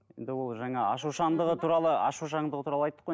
енді ол жаңа ашушаңдығы туралы ашушаңдығы туралы айттық қой